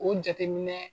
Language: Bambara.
O jateminɛ